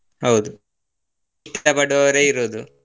ಹೌದು ಪಡುವವರೇ ಇರೋದು.